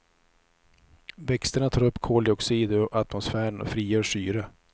Växterna tar upp koldioxid ur atmosfären och frigör syre.